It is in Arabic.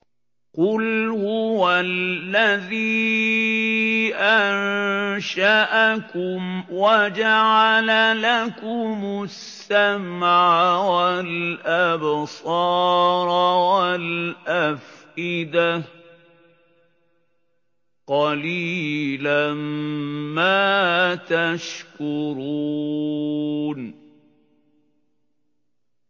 قُلْ هُوَ الَّذِي أَنشَأَكُمْ وَجَعَلَ لَكُمُ السَّمْعَ وَالْأَبْصَارَ وَالْأَفْئِدَةَ ۖ قَلِيلًا مَّا تَشْكُرُونَ